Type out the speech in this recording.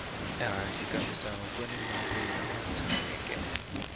ehansi ka misava kuni mati lama tshameke